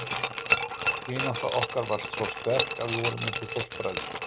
Vinátta okkar var svo sterk að við vorum eins og fóstbræður.